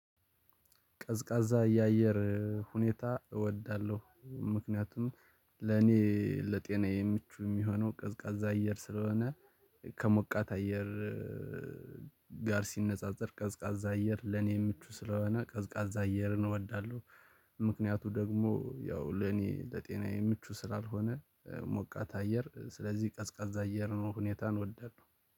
ቀዝቃዛ ያየር ሁኔታ እወዳለሁ ምክንያቱም ለኔ ለጤናዬ ምቹ የሚሆነው ቀዝቃዛ አየር ስለሆነ ከሞቃት አየር ጋር ሲነጻጸር ቀዝቃዛ አየር ለኔ ምቹ ስለሆነ ቀዝቃዛ አየርን እወዳለሁ። ምክንያቱ ደግሞ ያው ለኔ ለጤናዬ ምቹ ስላልሆነ ሞቃት አየር ስለዚህ ቀዝቃዛ አየር ነው ሁኔታን እወዳለሁ።